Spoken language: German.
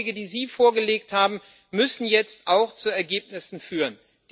Die Vorschläge, die Sie vorgelegt haben, müssen jetzt auch zu Ergebnissen führen.